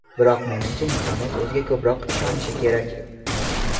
Biroq menimcha, insoniyat o‘ziga ko‘proq ishonishi kerak.